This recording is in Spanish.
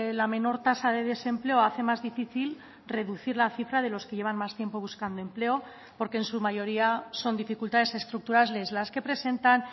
la menor tasa de desempleo hace más difícil reducir la cifra de los que llevan más tiempo buscando empleo porque en su mayoría son dificultades estructurales las que presentan